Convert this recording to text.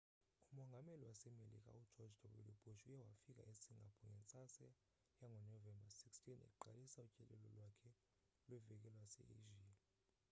umongameli wasemelika ugeorge w bush uye wafika esingapore ngentsasa yangonovember 16 eqalisa utyelelo lwakhe lweveki lwase-asia